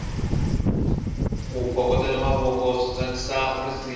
ku phokotela mavoko swi tsakisa risimu